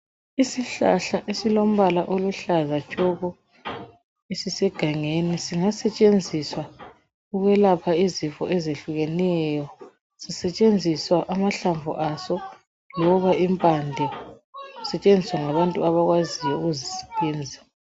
Isihlahla esilombala oluhlaza tshoko, esisegangeni, singasetshenziswa ukwelapha izifo ezehlukeneyo, kusetshenziswa amahlamvu aso loba impande, sisetshenziswa ngabantu abakwazi ukuzisebenza.